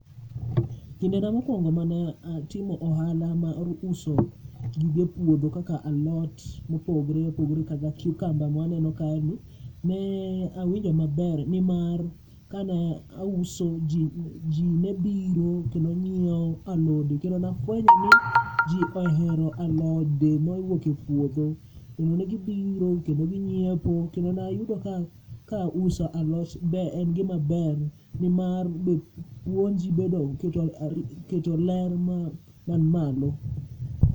Kindena mokwongo mane atimo ohala mar uso gige puodho kaka alot mopogre opogore, kaka cucumber ma aneno ka gi. Ne awinjo maber nimar kane auso ji nebiro kendo neng'iewo alode, kendo nafwenyo ni ji ohero alode ma owuoke puodho. Kendo ne gibiro kendo ginyiepo, kendo nayudo ka ka uso alot be en gima ber nimar be puonji bedo keto ler man malo.